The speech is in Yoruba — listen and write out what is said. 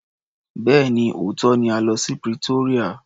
Bẹ́ẹ̀ni, òótọ́ ni a lọ sí Pretoria.